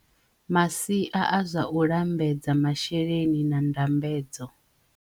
Masia a zwa u lambedza masheleni na ndambedzo.